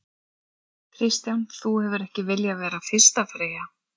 Kristján: Þú hefur ekki viljað vera fyrsta freyja?